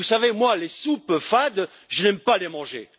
Et vous savez, moi, les soupes fades, je n'aime pas les manger.